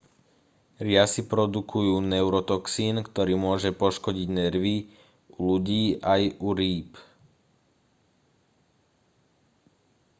riasy produkujú neurotoxín ktorý môže poškodiť nervy u ľudí aj u rýb